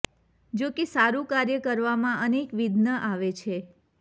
જો કે સારૂ કાર્ય કરવામાં અનેક વિઘ્ન આવે છે